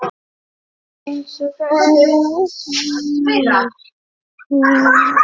Eru það bætur?